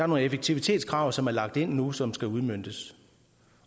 nogle effektivitetskrav som er lagt ind nu og som skal udmøntes